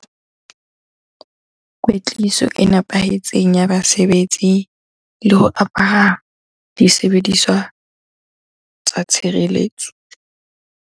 Kwetliso e nepahetseng ya basebetsi le ho apara disebediswa tsa tshireletso.